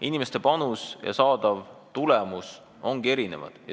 Inimeste panus ja saadav tulemus ongi erinevad.